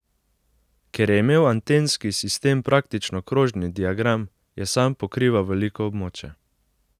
Ker je imel antenski sistem praktično krožni diagram, je sam pokrival veliko območje.